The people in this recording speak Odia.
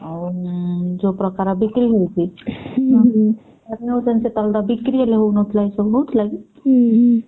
ଆଉ ଉଁ ଯୋଉ ପ୍ରକାର ବିକ୍ରି ହଉଛି ବିକ୍ରି ହେଲେ ହଉନଥିଲା ଏସବୁ ହଉଥିଲା କି?